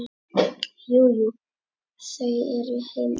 Jú, jú. þau eru heima.